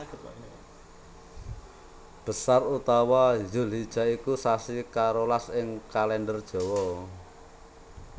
Besar utawa Dzulhijah iku sasi karolas ing Kalèndher Jawa